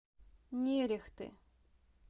нерехты